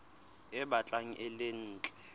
e batlang e le ntle